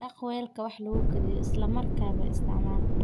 Dhaq weelka wax lagu kariyo isla markaaba isticmaal.